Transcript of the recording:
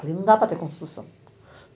Ali não dá para ter construção